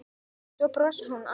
Svo brosir hún alsæl.